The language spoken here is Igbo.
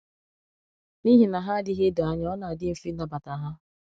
N’ihi na hà adịghị edo anya, ọ na-adị mfe ịnabata hà.